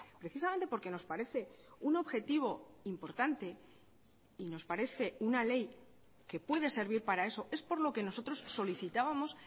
precisamente porque nos parece un objetivo importante y nos parece una ley que puede servir para eso es por lo que nosotros solicitábamos